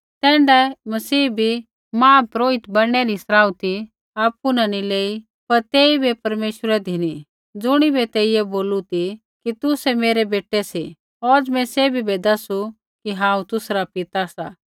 तैण्ढाऐ मसीहै बी महापुरोहित बणनै री सराउथी आपु नी लेई पर तेइबै परमेश्वरै धिनी ज़ुणिबै तेइयै बोलू ती कि तुसै मेरै बेटै सी औज़ मैं सैभी बै दसू कि हांऊँ तुसरा पिता सा